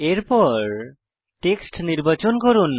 এরপর টেক্সট নির্বাচন করুন